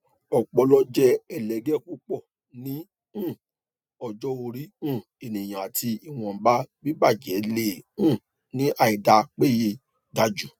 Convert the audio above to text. ọpọlọ jẹ ẹlẹgẹ pupọ ni um ọjọ ori um eniyan ati ìwọnba bibajẹ le um ni àìdá péye gaju